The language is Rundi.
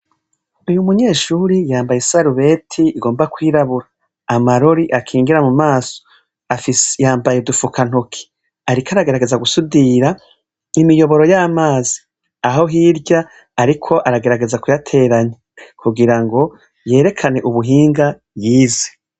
Uyu munyeshuri yambaye isarubeti igomba kw'irabura. Amarori akingira mu maso. Yambaye udufukantoki. Ariko aragerageza gusudira imiyoboro y'amazi. Aho hirya ariko aragerageza kuyateranya kugira ngo yerekane ubuhinga yize.